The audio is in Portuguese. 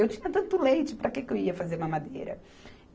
Eu tinha tanto leite, para que que eu ia fazer mamadeira?